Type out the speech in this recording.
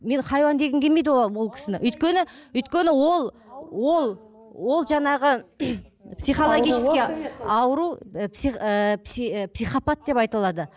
мен хайуан дегім келмейді ол кісіні өйткені өйткені ол ол ол жаңағы психологический ауру ы психопат деп айтылады